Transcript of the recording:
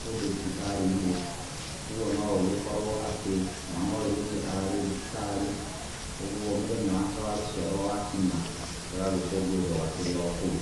kũndũ thibitarĩ-inĩ. Ũguo no gũgĩkorwo atĩ, mwana ũyũ rĩngĩ ararĩ thibitarĩ, ũguo mũthenya wake wa gũciarwo wakinya gagagĩkũngũĩrwo gakĩrĩ o kũu.